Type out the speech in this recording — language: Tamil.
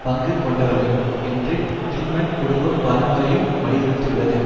பங்கு கொண்டவர்கள் என்று டில்மன் குடும்பம் பலமுறையும் வலியுறுத்துயுள்ளது